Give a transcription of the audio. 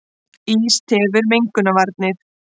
Ís tefur mengunarvarnir